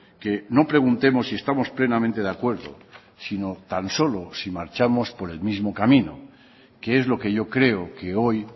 que no preguntemos si estamos plenamente de acuerdo sino tan solo si marchamos por el mismo camino que es lo que yo creo que hoy